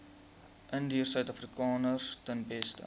indiërsuidafrikaners ten beste